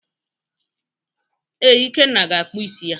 Ee, Ikenna ga-akpụ isi ya echi.